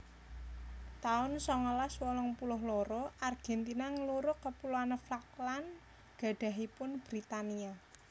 taun songolas wolung puluh loro Argentina nglurug Kepuloan Falkland gadhahanipun Britania